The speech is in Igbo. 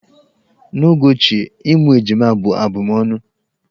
N'oge ochie, ịmụ ejima bụ abụmọnụ.